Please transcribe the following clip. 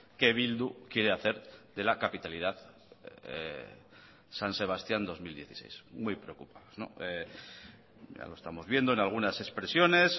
que bildu quiere hacer de la capitalidad san sebastían dos mil dieciséis muy preocupados ya lo estamos viendo en algunas expresiones